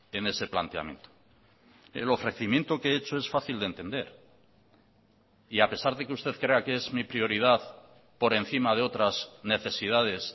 en ese planteamiento el ofrecimiento que he hecho es fácil de entender y a pesar de que usted crea que es mi prioridad por encima de otras necesidades